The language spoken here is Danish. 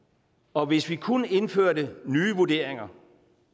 og hvis vi kun indførte nye vurderinger